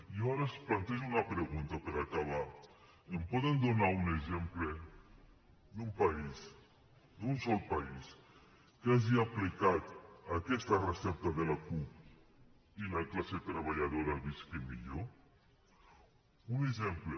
jo ara els plantejo una pregunta per acabar em poden donar un exemple d’un país d’un sol país que hagi aplicat aquesta recepta de la cup i la classe treballadora visqui millor un exemple